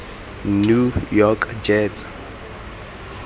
new york jets